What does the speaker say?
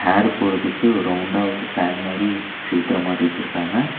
ஏர் போறதுக்கு ஒரு ரவுண்டா ஒரு ஃபேன் மாரி செவுத்துல மாட்டி வெச்சுருக்காங்க.